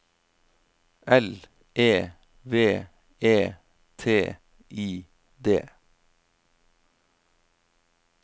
L E V E T I D